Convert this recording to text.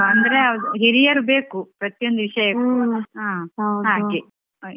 ಹೌದು ಹೇಳಿ ಕೊಡ್ಬೇಕು ಹೇಳಿ ಕೊಡ್ಬೇಕಪ್ಪಾ ಅಂದ್ರೆ ಅದು ಹಿರಿಯರು ಬೇಕು ಪ್ರತಿಯೊಂದು ವಿಷಯಕ್ಕೂ ಹಾಗೆ.